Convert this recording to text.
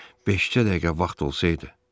Beşcə dəqiqə vaxt olsaydı.